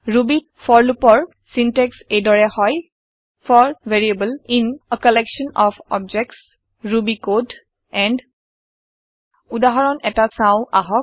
Rubyত for loop ৰ syntax এই দৰে হয় for variable in a collection of objects Ruby code and উদাহৰণ এটা চাওঁ আহক